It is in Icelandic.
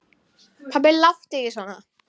Pabbi láttu ekki svona.